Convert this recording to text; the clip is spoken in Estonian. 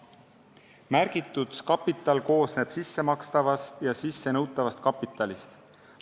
Märgitud kapital koosneb sissemakstavast ja sissenõutavast kapitalist.